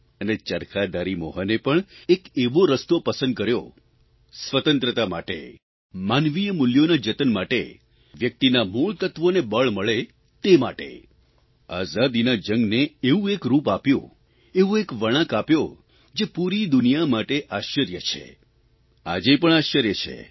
અને ચરખાધારી મોહને પણ એક એવો રસ્તો પસંદ કર્યો સ્વતંત્રતા માટે માનવીય મુલ્યોના જતન માટે વ્યક્તિત્વના મૂળતત્વોને બળ મળે તે માટે આઝાદીના જંગને એવું એક રૂપ આપ્યું એવો એક વળાંક આપ્યો જે પૂરી દુનિયા માટે આશ્ચર્ય છે આજે પણ આશ્ચર્ય છે